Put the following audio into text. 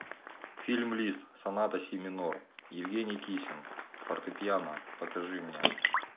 фильм лист соната си минор евгений кисин фортепиано покажи мне